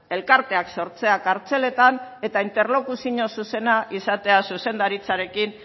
elkarteak sortzea kartzeletan eta interlokuzio zuzena izatea zuzendaritzarekin